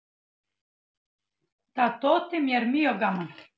Það þótti mér mjög gaman.